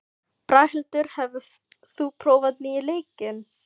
Braghildur, hefur þú prófað nýja leikinn?